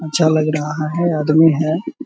अच्छा लग रहा है आदमी है।